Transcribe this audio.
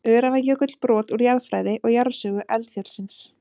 Öræfajökull, brot úr jarðfræði og jarðsögu eldfjallsins.